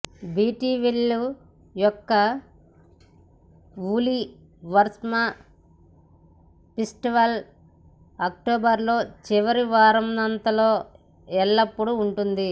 Beattyville యొక్క woolly worm festival అక్టోబరులో చివరి వారాంతంలో ఎల్లప్పుడూ ఉంటుంది